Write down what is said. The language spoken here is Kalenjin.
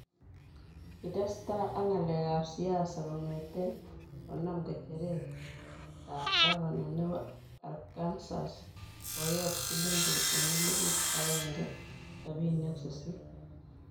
kitesta ak ngalek ap siasa kongeten konam nyecheret ap kavana nepo Arkansas poyot Cllinton en elipuut aenge sabini ak sisiit